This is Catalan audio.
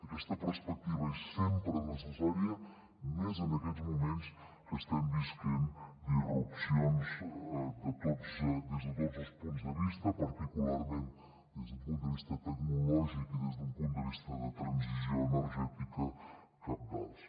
aquesta perspectiva és sempre necessària més en aquests moments que estem vivint disrupcions des de tots els punts de vista particularment des d’un punt de vista tecnològic i des d’un punt de vista de transició energètica cabdals